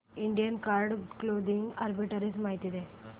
Indian card clothing arbitrage माहिती दे